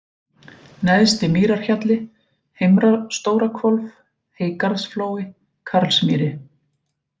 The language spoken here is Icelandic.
Neðsti-Mýrarhjalli, Heimra-Stórahvolf, Heygarðsflói, Karlsmýri